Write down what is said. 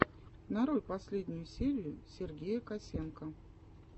нарой последнюю серию сергея косенко